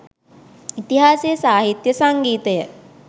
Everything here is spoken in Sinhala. ඉතිහාසය සාහිත්‍ය සංගීතය